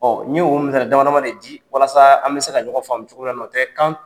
Ɔ ye o misali damadɔ de di walasa an bɛ se ka ɲɔgɔn faamu cogoya min na, o tɛ kan